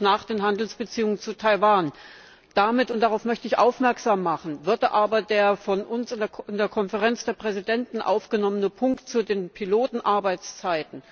nach den Handelsbeziehungen zu Taiwan eingeordnet. Damit, und darauf möchte ich aufmerksam machen, würde aber der von uns in der Konferenz der Präsidenten aufgenommene Punkt zu den Pilotenarbeitszeiten